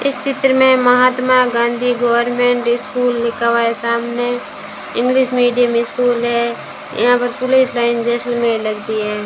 इस चित्र में महात्मा गांधी गवर्नमेंट स्कूल लिखा हुआ है। सामने इंग्लिश मीडियम स्कूल है। यहां पर पुलिस लाइन जैसलमेर लगती है।